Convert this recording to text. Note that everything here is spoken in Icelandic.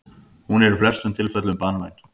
Hún er í flestum tilfellum banvæn.